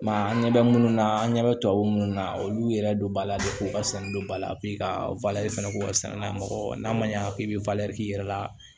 an ɲɛ bɛ minnu na an ɲɛ bɛ tubabu minnu na olu yɛrɛ don ba la de k'u ka sɛnɛ don ba la ka fana k'u ka saniya mɔgɔ n'a ma ɲa k'i bɛ k'i yɛrɛ la